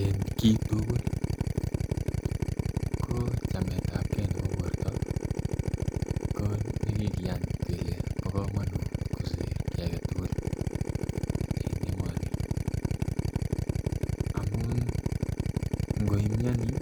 En kit tugul ko chametab gee nebo borto ko ne kikiyan kole bo komonut kosir kii agetugul en emoni. Amun ngoi mioni